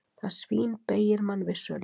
Það svínbeygir mann vissulega.